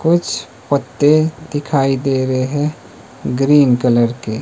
कुछ पत्ते दिखाई दे रहे हैं ग्रीन कलर के।